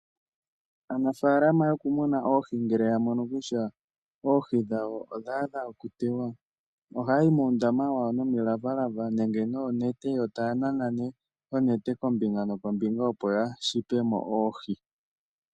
Aanafaalama yokumuna oohi ngele ya mono kutya oohi dhawo odha adha okutewa, ohaya yi muundama wawo nomilavalava nenge noonete, to taa nana nee onete kombinga nokombinga opo ya shipe mo oohi.